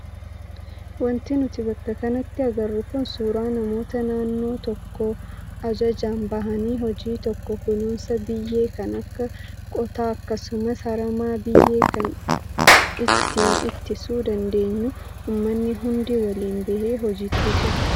Wanti nuti bakka kanatti agarru kun suuraa namoota naannoo tokkoo ajajaan bahanii hojii tokko kunuunsa biyyee kan akka qotaa akkasumas harama biyyee kan ittiin ittisuu dandeenyu uummanni hundi waliin bahee hojiitti jira.